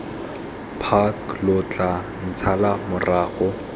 park lo tla ntshala morago